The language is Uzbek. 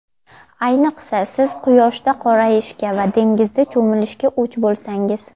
Ayniqsa, siz quyoshda qorayishga va dengizda cho‘milishga o‘ch bo‘lsangiz.